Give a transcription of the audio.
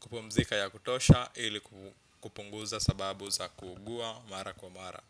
kupumzika ya kutosha ili kupunguza sababu za kuugua mara kwa mara.